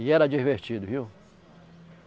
E era divertido, viu?